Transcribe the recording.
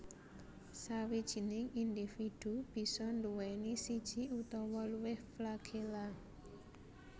Sawijining individu bisa nduwèni siji utawa luwih flagella